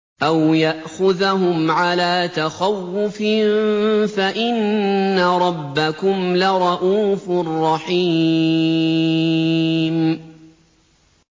أَوْ يَأْخُذَهُمْ عَلَىٰ تَخَوُّفٍ فَإِنَّ رَبَّكُمْ لَرَءُوفٌ رَّحِيمٌ